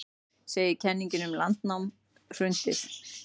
Segir kenningum um landnám hrundið